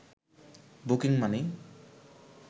booking money